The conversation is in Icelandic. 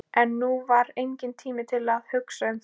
En nú var enginn tími til að hugsa um það.